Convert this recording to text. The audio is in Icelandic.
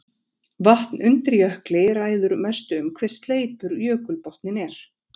Vatn undir jökli ræður mestu um hve sleipur jökulbotninn er.